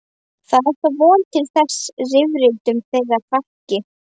Það er þá von til þess að rifrildum þeirra fækki.